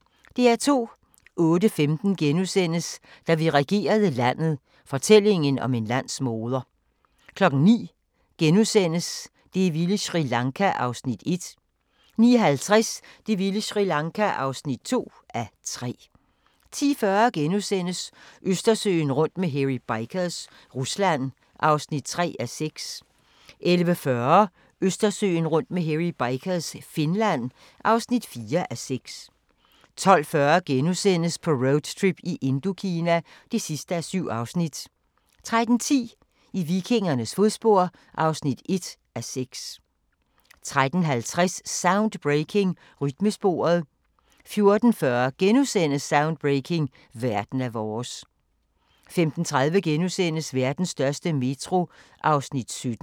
08:15: Da vi regerede landet – fortællingen om en landsmoder * 09:00: Det vilde Sri Lanka (1:3)* 09:50: Det vilde Sri Lanka (2:3) 10:40: Østersøen rundt med Hairy Bikers – Rusland (3:6)* 11:40: Østersøen rundt med Hairy Bikers – Finland (4:6) 12:40: På roadtrip i Indokina (7:7)* 13:10: I vikingernes fodspor (1:6) 13:50: Soundbreaking – Rytmesporet 14:40: Soundbreaking – Verden er vores * 15:30: Vestens største metro (17:21)*